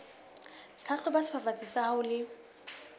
hlahloba sefafatsi sa hao le